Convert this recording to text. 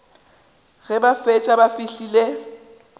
ge ba šetše ba fihlile